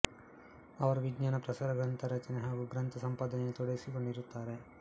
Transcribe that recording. ಅವರು ವಿಜ್ಞಾನ ಪ್ರಸಾರ ಗ್ರಂಥ ರಚನೆ ಹಾಗೂ ಗ್ರಂಥ ಸಂಪಾದನೆಯಲ್ಲಿ ತೊಡಗಿಸಿಕೊಂಡಿರುತ್ತಾರೆ